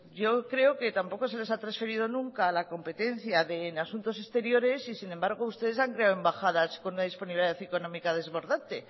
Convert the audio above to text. yo creo que tampoco se les ha transferido nunca la competencia en asuntos exteriores y sin embargo ustedes han creado embajadas con una disponibilidad económica desbordante